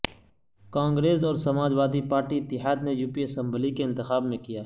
کانگریس اور Samajwadi party اتحاد نے یو پی اسمبلی کے انتخاب میں کیا